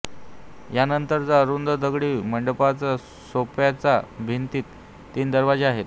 यानंतरच्या अरुंद दगडी मंडपाच्या सोप्याच्या भिंतीत तीन दरवाजे आहेत